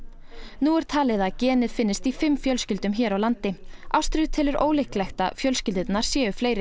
nú er talið að genið finnist í fimm fjölskyldum hér á landi ástríður telur ólíklegt að fjölskyldurnar séu fleiri